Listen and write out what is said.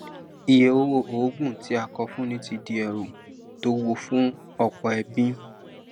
iye owó òògùn tí a kọ fún ní ti di ẹrù tó wuwo fún ọpọ ẹbí